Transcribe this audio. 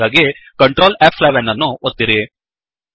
ಹಾಗಾಗಿ ಕಂಟ್ರೋಲ್ ಫ್11 ಅನ್ನು ಒತ್ತಿರಿ